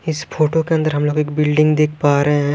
इस फोटो के अंदर हम लोग एक बिल्डिंग देख पा रहे हैं।